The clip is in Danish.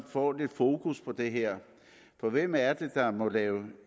får lidt fokus på det her for hvem er det der må drive